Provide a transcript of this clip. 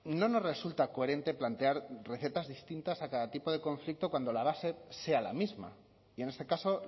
no nos resulta coherente plantear recetas distintas a cada tipo de conflicto cuando la base sea la misma y en este caso